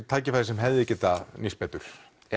tækifæri sem hefði getað nýst betur